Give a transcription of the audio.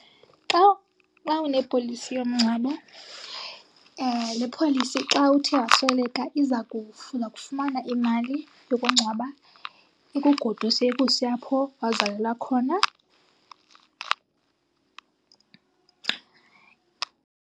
Xa, uba unepolisi yomngcwabo, le polisi xa uthe wasweleka iza , uza kufumana imali yokungcwaba, ikugoduse ikuse apho wazalelwa khona.